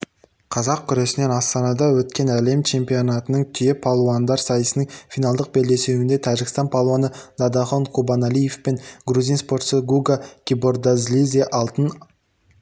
қазақ күресінен астанада өткен әлем чемпионатының түйе палуандар сайысының финалдық белдесуінде тәжікстан палуаны дадахон курбаналиев пен грузин спортшысы гуга кибордзалидзе алтын